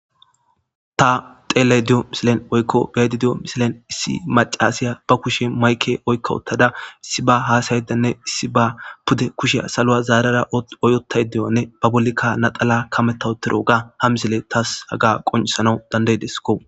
Ta xeele diyo misilen oykko beedi diyo misilen issi macasiya ba kushe mayke oykka wottada issi ba haasayedanne issi ba pude kusheya saloa zaarara oyotay deyonne ba bolikka naxala kametawotero ga ha misile taas haga qonisana dandaydesko.